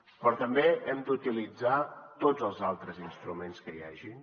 però també hem d’utilitzar tots els altres instruments que hi hagin